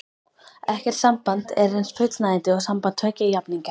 Ekkert samband er eins fullnægjandi og samband tveggja jafningja.